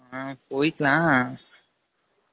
ம்ம் போய்கலாம்